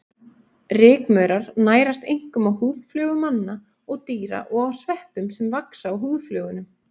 Rykmaurar nærast einkum á húðflögum manna og dýra og á sveppum sem vaxa á húðflögunum.